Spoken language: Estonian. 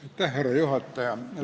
Austatud härra juhataja!